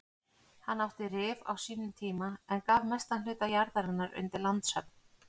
Hann átti Rif á sínum tíma en gaf mestan hluta jarðarinnar undir landshöfn.